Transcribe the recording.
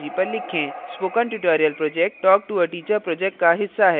spoken tutorial project talktoa teacher project का हिस्सा है